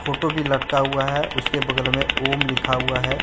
Photo भी लटका हुआ है। उसके बगल में ओम लिखा हुआ है।